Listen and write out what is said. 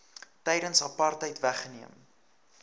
tydens apartheid weggeneem